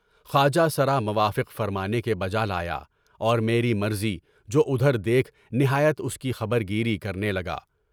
خواجہ سرا موافق فرمانے کے بجا لایا اور میری مرضی کے مطابق دیکھ نہایت اس کی خبرگیری کرنے لگا۔